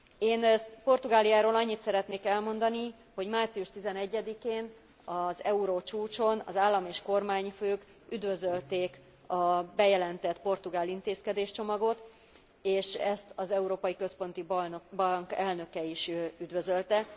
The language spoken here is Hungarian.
Én Portugáliáról annyit szeretnék elmondani, hogy március 11 én, az eurócsúcson az állam és kormányfők üdvözölték a bejelentett portugál intézkedéscsomagot és ezt az Európai Központi Bank elnöke is üdvözölte.